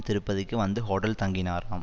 திருப்பதிக்கு வந்து ஹோட்டலில் தங்கினாராம்